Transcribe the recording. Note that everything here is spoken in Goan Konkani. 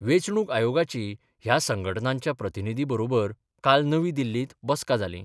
वेचणूक आयोगाची ह्या संघटनांच्या प्रतिनिधी बरोबर काल नवी दिल्लीत बसका जाली.